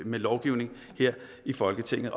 med lovgivning her i folketinget